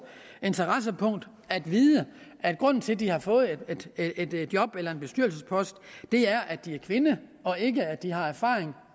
interessepunkt at vide at grunden til at de har fået et job eller en bestyrelsespost er at de er kvinder og ikke at de har erfaring